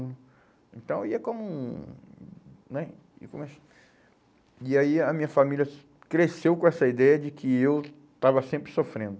Então ia como um... Né? Aí começou. E aí a minha família cresceu com essa ideia de que eu estava sempre sofrendo.